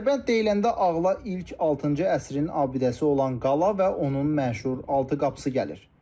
Dərbənd deyiləndə ağla ilk altıncı əsrin abidəsi olan qala və onun məşhur altı qapısı gəlir.